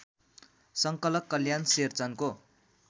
संकलक कल्याण शेरचनको